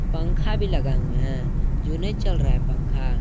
पंखा भी लगा हुआ है जो नहीं चल रहा है पंखा।